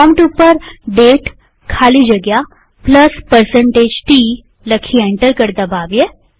prompt ઉપર દાતે ખાલી જગ્યા T લખી એન્ટર કળ દબાવીએ